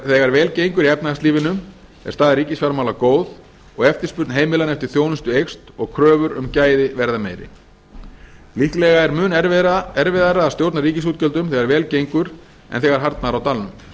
þegar vel gengur í efnahagslífinu er staða ríkisfjármála góð og eftirspurn heimilanna eftir þjónustu eykst og kröfur um gæði verða meiri líklega er mun erfiðara að stjórna ríkisútgjöldum þegar vel gengur en þegar harðnar á talin